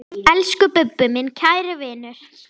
Elsku Bubbi, minn kæri vinur.